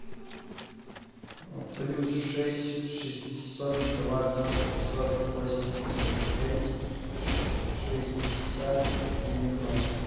плюс шесть шестьсот двадцать пятьсот восемьдесят пять шестьдесят девяносто